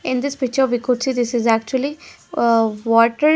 In this picture we could see this is actually ah water --